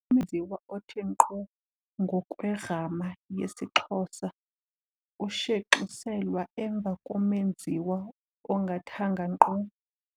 Umenziwa othe ngqo ngokwegrama yesiXhosa ushenxiselwa emva komenziwa ongathanga ngqo.